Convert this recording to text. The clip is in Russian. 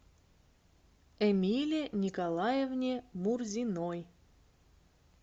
эмилии николаевне мурзиной